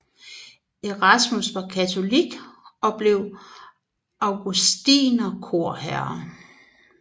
Erasmus var katolik og blev augustinerkorherre